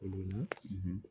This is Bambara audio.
O ɲɛna